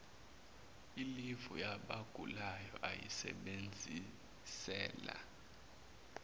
ilivu yabagulayo uyisebenzisele